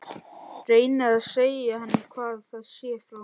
Reyni að segja henni hvað það sé frá